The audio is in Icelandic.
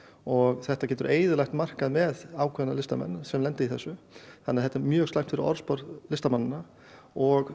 og þetta getur eyðilagt markað með ákveðna listamenn sem lenda í þessu þannig að þetta er mjög slæmt fyrir orðspor listamannanna og